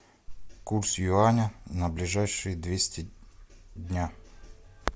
курс юаня на ближайшие двести дня